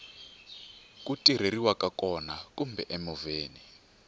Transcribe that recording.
ku tirheriwaka kona kumbe emovheni